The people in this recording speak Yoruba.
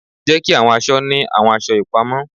Jeki awọn aṣọ ni awọn aṣọ ipamọ